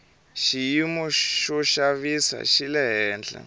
xiyimo xo xavisa xi le hehla